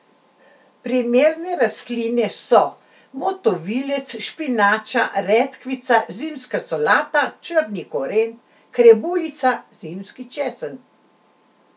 Primerne rastline so motovilec, špinača, redkvica, zimska solata, črni koren, krebuljica, zimski česen.